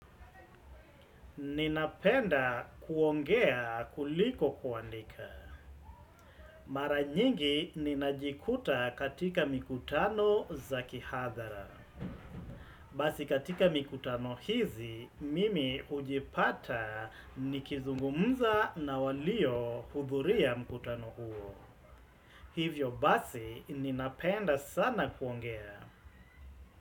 Ninapenda kuongea kuliko kuandika. Mara nyingi ninajikuta katika mikutano za kihadhara. Basi katika mikutano hizi, mimi ujipata nikizungumza na walio hudhuria mikutano huo. Hivyo basi ninapenda sana kuongea.